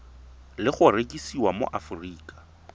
le go rekisiwa mo aforika